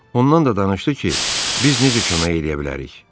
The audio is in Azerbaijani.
Ondan da danışdı ki, biz necə kömək eləyə bilərik.